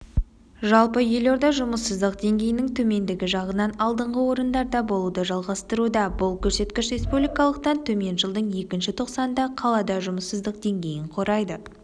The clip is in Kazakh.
жалпы елорда жұмысыздық деңгейінің төмендігі жағынан алдыңғы орындарда болуды жалғастыруда бұл көрсеткіш республикалықтан төмен жылдың екінші тоқсанында қалада жұмыссыздық деңгейі құрайды